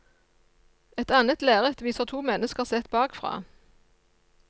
Et annet lerret viser to mennesker sett bakfra.